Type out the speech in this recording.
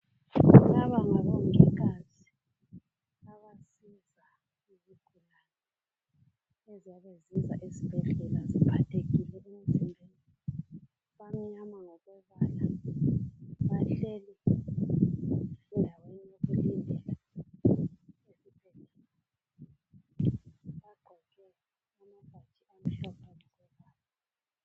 Laba ngabongikazi abasiza izigulane ezabe zisiza esibhedlela ziphathekile. Bamnyama ngokombala. Bahleli endaweni yokulindela. Bagqoke amabhatshi amhlophe